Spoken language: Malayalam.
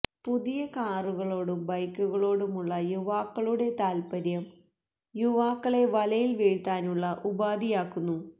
പുതിയ കാറുകളോടും ബൈക്കുകളോടുമുള്ള യുവാക്കളുടെ താത്പര്യവും യുവാക്കളെ വലയിൽ വീഴ്ത്താനുള്ള ഉപാധിയാക്കുന്നു